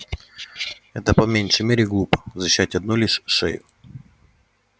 это по меньшей мере глупо защищать одну лишь шею